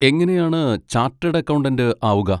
എങ്ങനെയാണ് ചാട്ടേഡ് അക്കൗണ്ടന്റ് ആവുക?